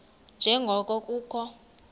nje ngoko kukho